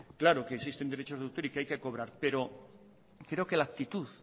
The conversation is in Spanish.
claro que existen derechos de autor y que hay que cobrar pero creo que la actitud